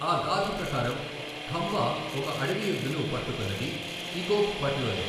ఆ గాథ ప్రకారం, ఖంబా ఒక అడవి ఎద్దును పట్టుకున్నది ఇకోప్ పట్ లోనే.